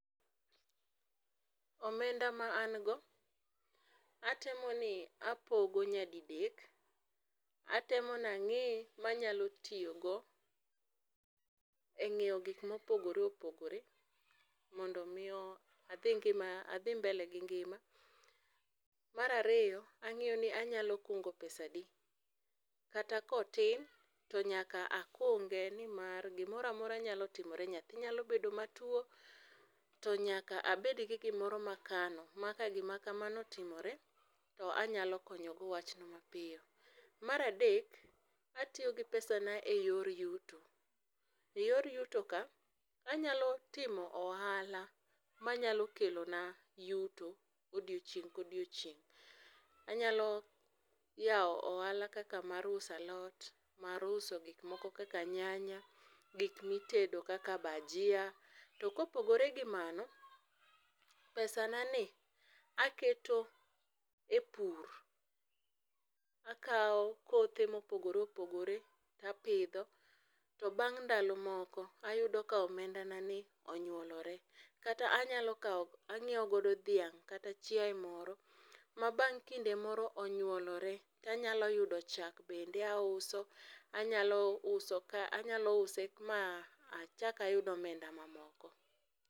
Omenda ma an go atemo ni apaogo nyadidek ,atemo ni angi ma anyalo tiyogo e ngiew gikma opogore opogore mondo adhi mbele gi ngima. Mar ariyo angiyoni anyalo kungo pesa adi kata ka otin to nyaka akunge nimar gimoro amora nyalo timore, nyathi nyalo bedo matuo to nyaka abed gi gimoro ma akano ma ka gima kamano otimore to anyalo konyo go wachno mapiyo. Mar adek atiyo gi pesana e yor yuto,e yor yuto ka anyalo timo ohala manyalo kelona yuto odiochieng ka odiochieng, anyalo yao ohala kaka mar uso alot, mar uso gik moko kaka nyanya, gikmi tedo kaka bajia, To kopogore gi mano, pesa na ni aketo e pur. Akao kothe ma opogore opogore to apidho to bang ndalo moko ayudo ka omenda na ni onyuolore kata anyalo kao, angieo godo dhang kata chiaye moro ma bang kinde moro onyuolore to anyalo yudo chak bende auso, anyalo uso ka ,anyalo use ma achak ayud omenda mamoko